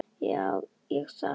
Já, ég sagði það.